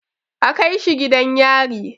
A kaishi gidan yari!